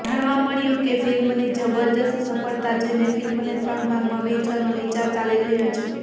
જાણવા મળ્યું કે ફ્લ્મિની જબરજસ્ત સફ્ળતા જોઈને ફ્લ્મિને ત્રણ ભાગમાં વહેંચવાનો વિચાર ચાલી રહ્યો છે